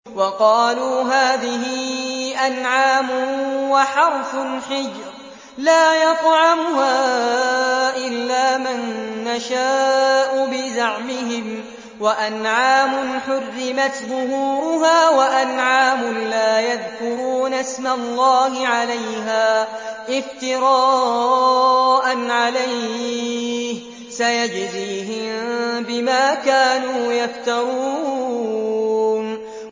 وَقَالُوا هَٰذِهِ أَنْعَامٌ وَحَرْثٌ حِجْرٌ لَّا يَطْعَمُهَا إِلَّا مَن نَّشَاءُ بِزَعْمِهِمْ وَأَنْعَامٌ حُرِّمَتْ ظُهُورُهَا وَأَنْعَامٌ لَّا يَذْكُرُونَ اسْمَ اللَّهِ عَلَيْهَا افْتِرَاءً عَلَيْهِ ۚ سَيَجْزِيهِم بِمَا كَانُوا يَفْتَرُونَ